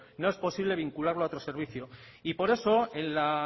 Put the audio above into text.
no es posible vincularlo a otro servicio y por eso en la